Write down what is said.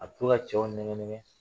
A bɛ to ka cɛw nɛgɛ nɛgɛ